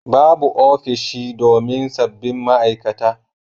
Babu ofishi domin sabbin ma'aikata